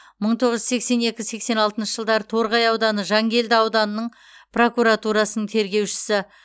мың тоғыз жүз сексен екі сексен алтыншы жылдары торғай ауданы жангелді ауданының прокуратурасы тергеушісі